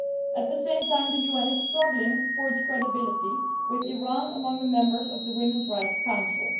At the same time, the UN is struggling for its credibility when Iran is among the members of the Women's Rights Council.